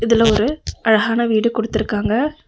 இதுல ஒரு அழஹான வீட குடுத்துருக்காங்க.